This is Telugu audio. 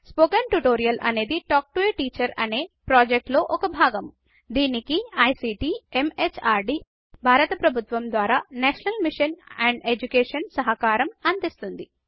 స్పోకెన్ ట్యుటోరియల్ అనేది టాక్ టు ఏ టీచర్ అనే ప్రాజెక్ట్ లో ఒక భాగము దీనికి ఐసీటీ ఎంహార్డీ భారత ప్రభుత్వము ద్వారా నేషనల్ మిషన్ అండ్ ఎడ్యుకేషన్ సహకారం అందిస్తోంది